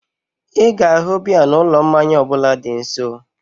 Ịga ahu biya na ụlọ mmanya ọbụla dị gị nso